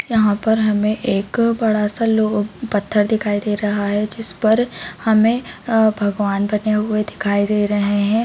यहाँ पर हमे एक बड़ा- सा लो पत्थर दिखाई दे रहा है जिस पर हमे आ भगवान बने हुए दिखाई दे रहे है।